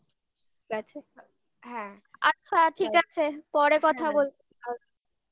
হ্যাঁ আচ্ছা ঠিক আছে পরে কথা বলবো আচ্ছা